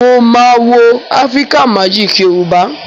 Mo maa wo Africa Magic Yorùbá.